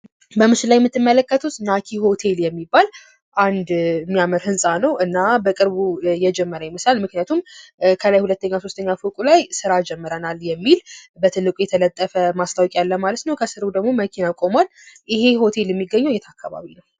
በምስሉ ላይ የምትመለከቱት ናኪ ሆቴል የሚባል አንድ የሚያምር ህንጻ ነው። እና በቅርብ የጀመረ ይመስላል ምክንያቱም ከላይ ሁለተኛ ሦስተኛ ፎቅ ላይ ስራ ጀመረናል የሚል በትልቁ የተለጠፈ ማስታወቂያ አለ ማለት ነው። ከስሩ ደግሞ መኪና ቆሟል። ይህ ሆቴል የሚገኘው የት አካባቢ ነው?